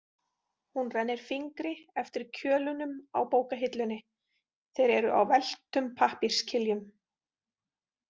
Hún rennir fingri eftir kjölunum í bókahillunni, þeir eru á velktum pappírskiljum.